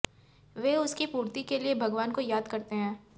वे उसकी पूर्ति के लिए भगवान को याद करते हैं